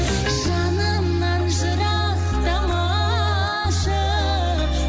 жанымнан жырықтамашы